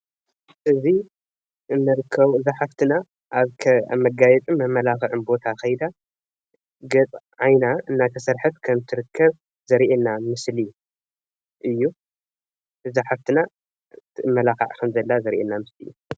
እዚ እዛ ሓፍትና ኣብ መጋየፅን መማላክዕን ቦታ ከይዳ ዓይና እናተሰርሐት ከም እትርከብ ዘርእየና ምስሊ እዩ እዛ ሓፍትና ትማላካዕ ከም ዘላ ዘርእየና ምስሊ እዩ፡፡